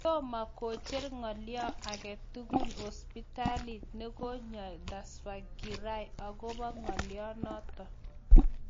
Tomo kocher ng'alyo agetugul hospitalit ne koinyoi Tsvangirai akobo ng'alyanoto